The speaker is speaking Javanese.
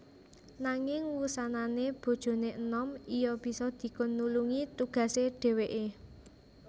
Nanging wusanané bojoné enom iya bisa dikon nulungi tugasé dhèwèké